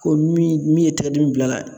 Ko min min ye tɛgɛ diml bil'a la